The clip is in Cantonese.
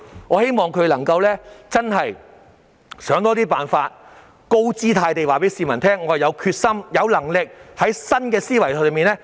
我希望他們真的能夠多想一些辦法，高姿態地告訴市民，政府有決心、有能力以新思維解決問題。